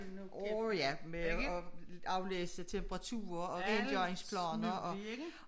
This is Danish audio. Årh ja med at aflæse temperaturer og ændre ens planer og